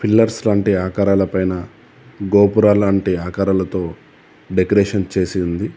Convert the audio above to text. Pillars లాంటి ఆకారాలపైన గోపురాలు లాంటి ఆకారాలతో డెకరేషన్ చేసి ఉంది.